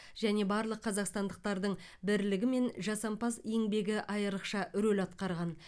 және барлық қазақстандықтардың бірлігі мен жасампаз еңбегі айрықша рөл атқарған